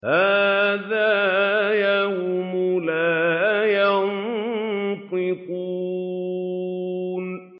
هَٰذَا يَوْمُ لَا يَنطِقُونَ